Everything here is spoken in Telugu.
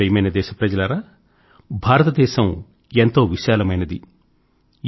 నా ప్రియమైన దేశ ప్రజలారా భారతదేశం ఎంతో విశాలమైనది